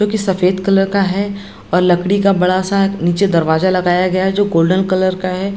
जो की सफेद कलर का है। और लकड़ी का एक बड़ा सा नीचे दरवाजा लगाया गया जो गोल्डन कलर का है।